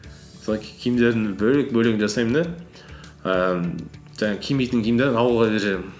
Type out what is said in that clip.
солай киімдерімді бөлек бөлек жасаймын да ііі жаңағы кимейтін киімдерімді ауылға беріп жіберемін